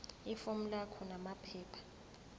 ifomu lakho namaphepha